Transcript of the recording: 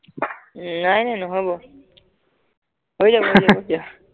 নাই নাই নহব হৈ যাব ব হৈ যাব দিয়া